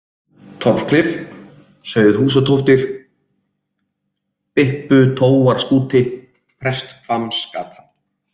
Torfklif, Sauðhúsatóftir, Bipputóarskúti, Presthvammsgata